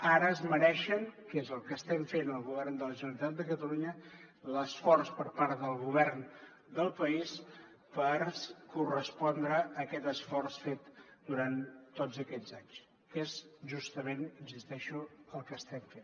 ara es mereixen que és el que estem fent al govern de la generalitat de catalunya l’esforç per part del govern del país per correspondre a aquest esforç fet durant tots aquests anys que és justament hi insisteixo el que estem fent